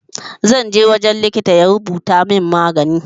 Zanje wajen likitan ya rubuta mun magani